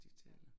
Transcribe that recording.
Ja